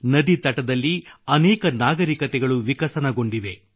ನದಿತಟದಲ್ಲಿ ಅನೇಕ ನಾಗರಿಕತೆಗಳು ವಿಕಸನಗೊಂಡಿವೆ